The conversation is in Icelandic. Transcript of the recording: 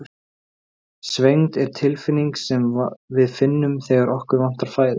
Svengd er tilfinning sem við finnum þegar okkur vantar fæðu.